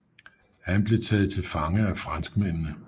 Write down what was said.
Han blev taget til fange af franskmændene